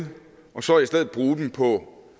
og så i stedet bruger dem på